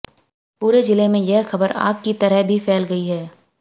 पूरे जिले में यह खबर आग की तरह भी फैल गई है